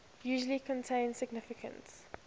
usually contain significant